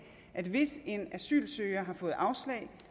at hvis en asylsøger har fået afslag